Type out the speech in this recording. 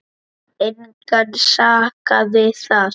Engan sakaði þar.